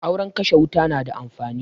Auren kashe wuta na da amfani